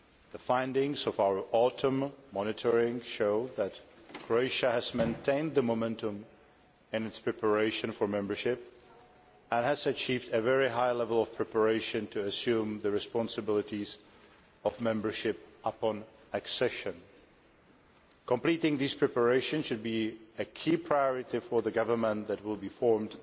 The findings of our autumn monitoring show that Croatia has maintained the momentum in its preparation for membership and has achieved a very high level of preparation to assume the responsibilities of membership upon accession. Completing these preparations should be a key priority for the government that will be formed